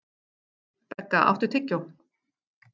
Begga, áttu tyggjó?